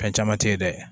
Fɛn caman te ye dɛ